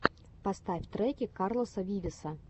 поставь треки карлоса вивеса